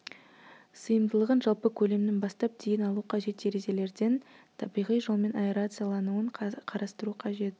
сыйымдылығын жалпы көлемнің бастап дейін алу қажет терезелерден табиғи жолмен аэрациялануын қарастыру қажет